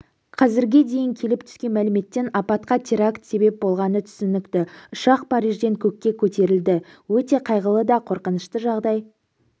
қазірге дейін келіп түскен мәліметтен апатқа теракт себеп болғаны түсінікті ұшақ парижден көкке көтерілді өте қайғылы да қорқынышта жағдай